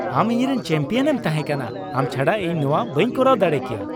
ᱟᱢ ᱤᱧᱨᱮᱱ ᱪᱮᱢᱯᱤᱭᱚᱱ ᱮᱢ ᱛᱟᱦᱮᱸ ᱠᱟᱱᱟ ! ᱟᱢ ᱪᱷᱟᱰᱟ ᱤᱧ ᱱᱚᱶᱟ ᱵᱟᱹᱧ ᱠᱚᱨᱟᱣ ᱫᱟᱲᱮ ᱠᱮᱭᱟ ᱾